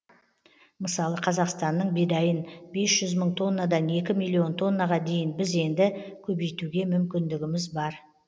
мысалы қазақстанның бидайын бес жүз мың тоннадан екі миллион тоннаға дейін біз енді көбейтуге мүмкіндігіміз бар